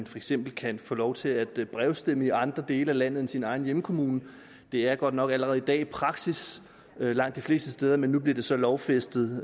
for eksempel kan få lov til at brevstemme i andre dele af landet end i sin egen hjemkommune det er godt nok allerede i dag praksis langt de fleste steder men nu bliver det så lovfæstet